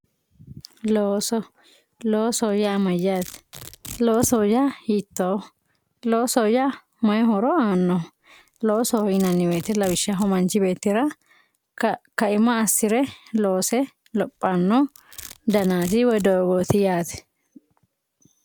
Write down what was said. looso loosoho yaa mayaate loosoho yaa hiitooho loosoho yaa mayi horo aannoho loosoho yinaniwoyiite lawishshaho manch beettira kaima assire loose lophanno danaati woyi doogooti yaate